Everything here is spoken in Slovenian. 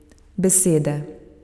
Besede.